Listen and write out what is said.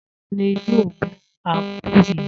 Ta ni yóò mú ápù yìí?